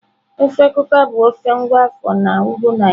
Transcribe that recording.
Ofe Kuka bụ ofe nwa afọ na Ugwu Naijiria.